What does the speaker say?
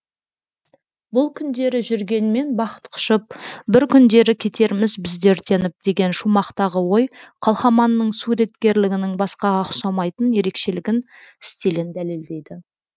бұл күндері жүргенмен бақыт құшып бір күндері кетерміз біз де өртеніп деген шумақтағы ой қалқаманның суреткерлігінің басқаға ұқсамайтын ерекшелігін стилін дәлелдейді